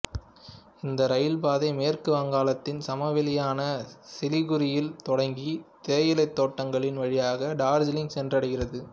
இந்த இரயில்பாதை மேற்கு வங்காளத்தின் சமவெளியான சிலிகுரியில் தொடங்கி தேயிலை தோட்டங்களின் வழியாக டார்ஜிலிங் சென்றடைகிறது